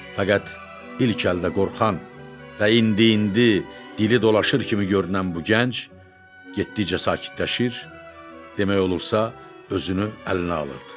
Fəqət, ilk əldə qorxan və indi-indi dili dolaşır kimi görünən bu gənc getdikcə sakitləşir, demək olar ki, özünü əlinə alırdı.